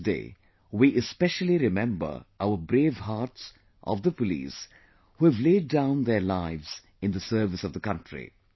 On this day we especially remember our brave hearts of the police who have laid down their lives in the service of the country